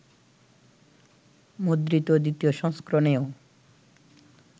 মুদ্রিত দ্বিতীয় সংস্করণেও